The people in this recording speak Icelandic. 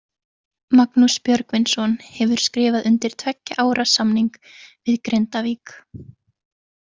Magnús Björgvinsson hefur skrifað undir tveggja ára samning við Grindavík.